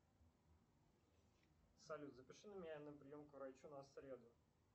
салют запиши меня на прием к врачу на среду